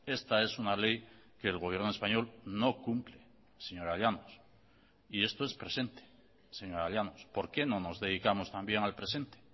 esta es una ley que el gobierno español no cumple señora llanos y esto es presente señora llanos por qué no nos dedicamos también al presente